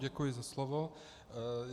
Děkuji za slovo.